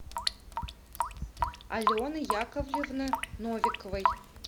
алены яковлевны новиковой